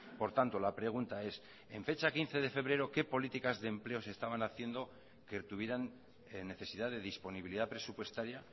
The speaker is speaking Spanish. por tanto la pregunta es en fecha quince de febrero qué políticas de empleo se estaban haciendo que tuvieran necesidad de disponibilidad presupuestaria